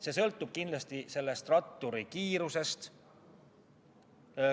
See sõltub kindlasti ratturi kiirusest.